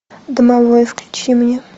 домовой включи мне